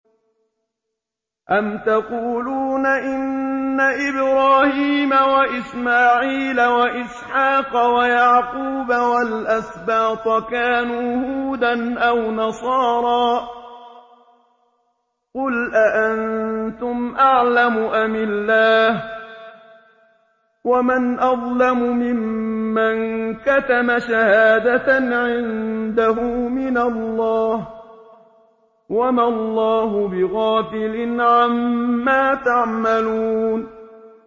أَمْ تَقُولُونَ إِنَّ إِبْرَاهِيمَ وَإِسْمَاعِيلَ وَإِسْحَاقَ وَيَعْقُوبَ وَالْأَسْبَاطَ كَانُوا هُودًا أَوْ نَصَارَىٰ ۗ قُلْ أَأَنتُمْ أَعْلَمُ أَمِ اللَّهُ ۗ وَمَنْ أَظْلَمُ مِمَّن كَتَمَ شَهَادَةً عِندَهُ مِنَ اللَّهِ ۗ وَمَا اللَّهُ بِغَافِلٍ عَمَّا تَعْمَلُونَ